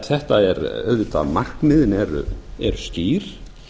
þetta er auðvitað markmiðin eru skýr